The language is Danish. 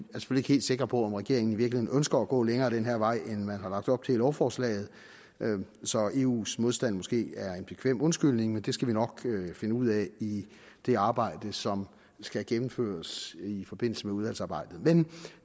helt sikre på om regeringen i virkeligheden ønsker at gå længere ad den her vej end man har lagt op til i lovforslaget så eus modstand måske er en bekvem undskyldning men det skal vi nok finde ud af i det arbejde som skal gennemføres i forbindelse med udvalgsarbejdet men